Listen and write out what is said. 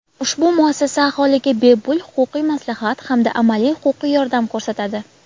Ushbu muassasa aholiga bepul huquqiy maslahat hamda amaliy huquqiy yordam ko‘rsatadi.